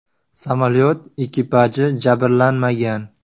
Samolyot ekipaji jabrlanmagan.